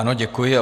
Ano, děkuji.